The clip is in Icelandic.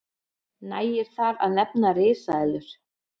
nægir þar að nefna risaeðlur